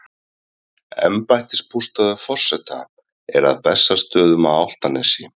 Embættisbústaður forseta er að Bessastöðum á Álftanesi.